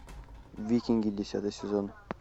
викинги десятый сезон